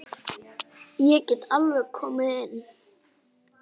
Ég get alveg komið inn.